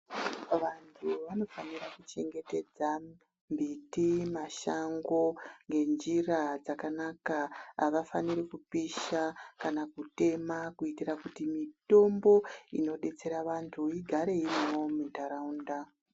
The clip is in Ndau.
Vantu vanofanira kuchengetedza mbiti ,mashango ngenjira dzakanaka havafaniri kupisha kana kutema. Kuitira kuti mitombo inobetsera vantu igare irimwo mundaraunda.